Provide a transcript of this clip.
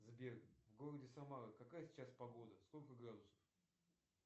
сбер в городе самара какая сейчас погода сколько градусов